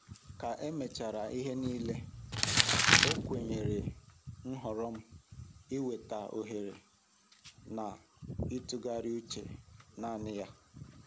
Ka emechara ihe niile, ọ kwanyere nhọrọ m ịweta ohere na ịtụgharị uche naanị ya.